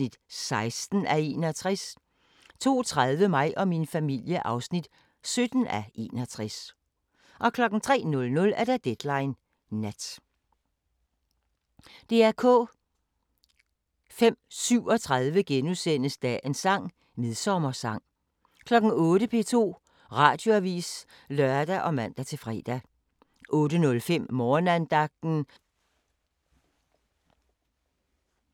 20:00: The Best Exotic Marigold Hotel 21:55: Summer of Love 2 * 22:50: The Big Lebowski * 00:40: Bryllupsfesten * 02:20: Kvit eller Dobbelt * 03:20: Kvit eller Dobbelt (4:8) 04:35: Dagens sang: Aftensti *